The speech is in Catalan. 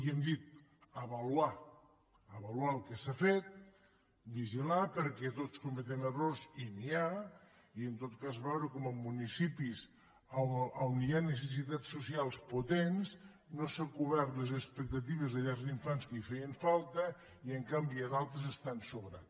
i hem dit avaluar avaluar el que s’ha fet vigilar perquè tots cometen errors i n’hi ha i en tot cas veure com a municipis on hi ha necessitats socials potents no s’han cobert les expectatives de llars d’infants que feien falta i en canvi a d’altres estan sobrats